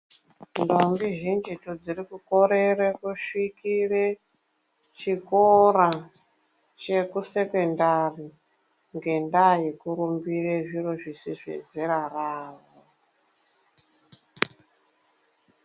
Ndombi zhinjitu dziri kukorere kusvikire chikora chekusekendari ngendaa yekujaha kuite zviro zviro zvisiri zvezera rawo.